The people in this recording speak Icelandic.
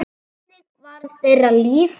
Þannig var þeirra líf.